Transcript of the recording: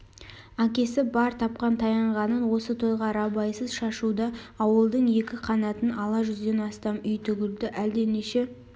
әкесі бар тапқан-таянғанын осы тойға рабайсыз шашуда ауылдың екі қанатын ала жүзден астам үй тігілді әлденеше